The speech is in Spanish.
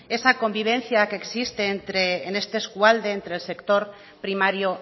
esa convivencia que existen en este eskualde entre el sector primario